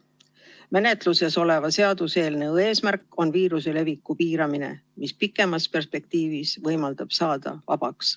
Menetluses oleva seaduseelnõu eesmärk on viiruse leviku piiramine, mis pikemas perspektiivis võimaldab saada vabaks.